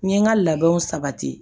N ye n ka labɛnw sabati